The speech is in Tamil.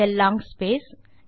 ah long space